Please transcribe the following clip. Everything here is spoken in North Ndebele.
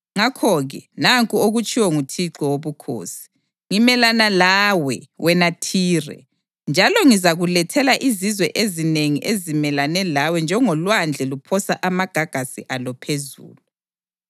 ngakho-ke nanku okutshiwo nguThixo Wobukhosi: Ngimelana lawe, wena Thire, njalo ngizakulethela izizwe ezinengi zimelane lawe njengolwandle luphosa amagagasi alo phezulu.